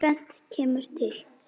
Tvennt kemur til.